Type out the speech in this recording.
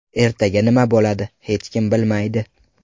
Ertaga nima bo‘ladi, hech kim bilmaydi.